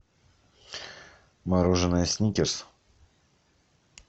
мороженое сникерс